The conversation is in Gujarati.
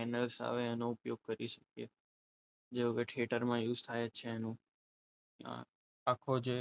આવે એનો ઉપયોગ કરીશું. જોકે થિયેટરમાં યુઝ થાય છે. એનો આખો જે